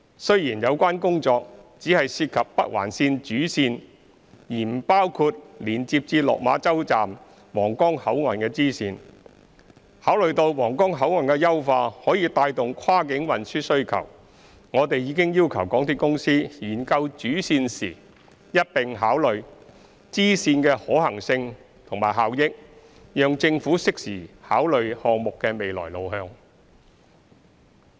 雖然有關工作只涉及北環綫主線而不包括連接至落馬洲站/皇崗口岸的支線，但考慮到皇崗口岸的優化可帶動跨境運輸需求，我們已要求港鐵公司研究主線時一併考量支線的可行性及效益，讓政府適時考慮項目的未來路向。